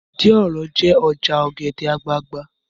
Ìdí òro jẹ́ ọjà ọ̀gẹ̀dẹ̀ àgbagbà